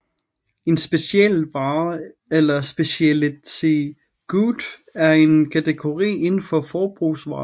En specialvare eller speciality good er en kategori indenfor forbrugsvarer